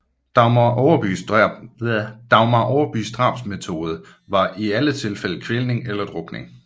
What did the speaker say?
Dagmar Overbys drabsmåde var i alle tilfælde kvælning eller drukning